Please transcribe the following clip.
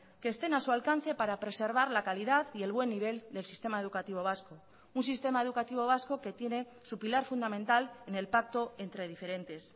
que estén a su alcance para preservar la calidad y el buen nivel del sistema educativo vasco un sistema educativo vasco que tiene su pilar fundamental en el pacto entre diferentes